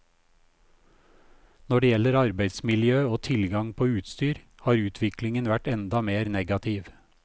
Når det gjelder arbeidsmiljøet og tilgang på utstyr, har utviklingen vært enda mer negativ.